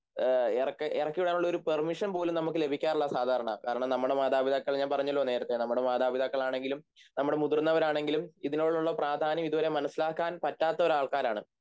എറക്കിവിടാനുള്ളൊരു permission പോലും നമുക്ക് ലഭിക്കാറില്ല സാധാരണ കാരണം നമ്മുടെ മാതാപിതാക്കൾ ഞാൻ പറഞ്ഞല്ലോ നേരത്തെ നമ്മുടെ മാതാപിതാക്കളാണെങ്കിലും നമ്മുടെ മുതിർന്നവരാണെങ്കിലും ഇതിനോടുള്ള പ്രാധാന്യം ഇതുവരെ മനസ്സിലാക്കാൻ പറ്റാത്ത ഒരാൾക്കാരാണ്